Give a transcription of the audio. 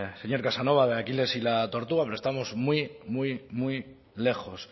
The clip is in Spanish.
señor casanova de aquiles y la tortuga pero estamos muy muy muy lejos